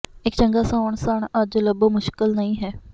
ਇੱਕ ਚੰਗਾ ਸੌਣ ਸਣ ਅੱਜ ਲੱਭੋ ਮੁਸ਼ਕਲ ਨਹੀ ਹੈ